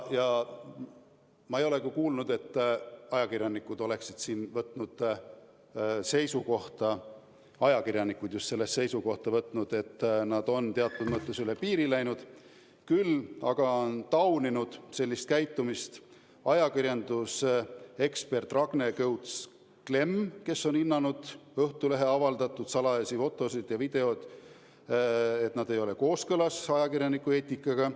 Ma ei ole küll kuulnud, et ajakirjanikud oleksid võtnud seisukohta, et nad on teatud mõttes üle piiri läinud, küll aga on tauninud sellist käitumist ajakirjandusekspert Ragne Kõuts-Klemm, kes on hinnanud Õhtulehe avaldatud salajasi fotosid ja videoid nii, et need ei ole kooskõlas ajakirjanduseetikaga.